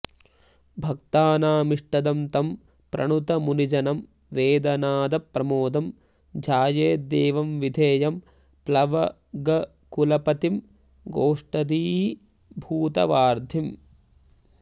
भक्तानामिष्टदं तं प्रणुत मुनिजनं वेदनादप्रमोदं ध्यायेद्देवं विधेयं प्लवगकुलपतिं गोष्पदीभूतवार्धिम्